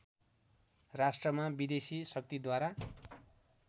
राष्ट्रमा विदेशी शक्तिद्वारा